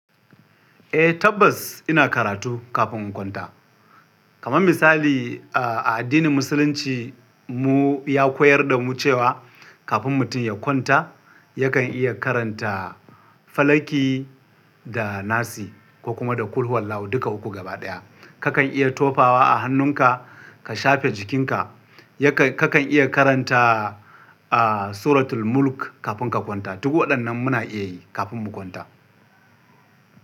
Eh tabbas ina karatu kafin in kwanta. Kaman misali a addinin musulunci mu ya koyar da mu cewa kafin mutum ya kwanta yakan iya karanta Falaki da Nasi ko kuma da Kulhuwallahu duka uku gaba ɗaya. Kakan iya tofawa a hannunka ka shafe jikinka. Yakan kakan iya karanta a Suratul Mulk kafin ka kwanta. Duk waɗannan muna iya yi kafin mu kwanta.